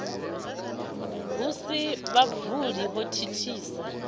hu si havhuḓi hu thithisa